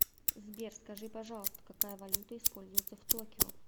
сбер скажи пожалуйста какая валюта используется в токио